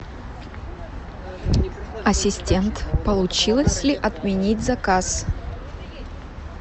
ассистент получилось ли отменить заказ